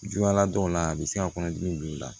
Juguya la dɔw la a bɛ se ka kɔnɔdimi don i la